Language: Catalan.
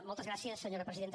moltes gràcies senyora presidenta